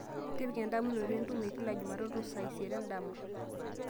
tipika endamunoto e ntumo kila jumatatu saa isiet endama